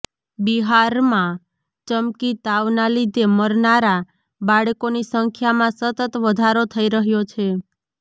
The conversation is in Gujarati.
બિહારમા ચમકી તાવના લીધે મરનારા બાળકોની સંખ્યામાં સતત વધારો થઈ રહ્યો છે